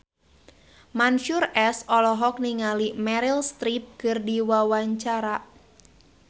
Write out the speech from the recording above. Mansyur S olohok ningali Meryl Streep keur diwawancara